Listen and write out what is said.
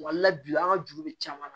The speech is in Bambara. Wala bi an ka juru bɛ caman na